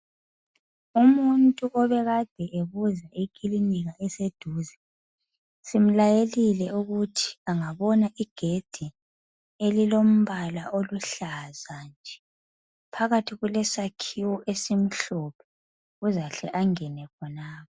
Umuntu ubebuza ikilinika eseduze. Simlayelile ukuthi angabona igedi elilombala oluhlaza nje. Phakathi kulesakhiwo esilombala omhlophe. Uzahle angene khonapho.